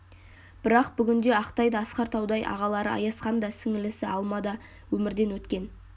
бірақ бүгінде ақтай да асқар таудай ағалары аязхан да сіңілісі алма да өмірден өткен